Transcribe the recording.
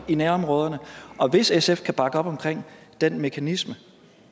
i nærområderne hvis sf kan bakke op om den mekanisme